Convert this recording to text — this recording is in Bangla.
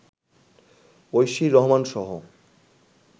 ঐশী রহমানসহ